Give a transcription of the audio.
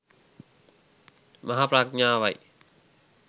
මහා ප්‍රඥාවයි.